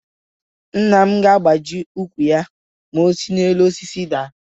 Nna m ga-agbaji úkwù ma o si elu osisi ahụ daa.